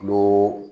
Dulo